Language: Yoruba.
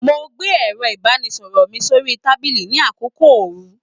Mo gbé ẹrọ ibanisọrọ mí sori tábìlì ní àkókò oòrùn.